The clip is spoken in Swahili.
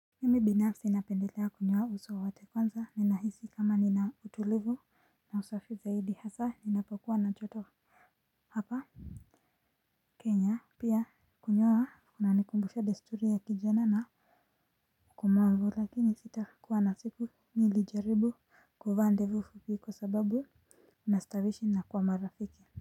Mimi binafsi napendelea kunyoa uso wote kwanza ninahisi kama nina utulivu na usafi zaidi hasa ninapokuwa na joto. Hapa Kenya pia kunyoa kunanikumbusha desturi ya kijana na komavu lakini sitakuwa na siku nilijaribu kuvaa ndevu fupi kwa sababu inastawishi na kwa marafiki.